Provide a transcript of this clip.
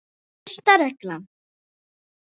Fyrsta reglan.